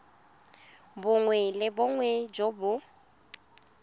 bongwe le bongwe jo bo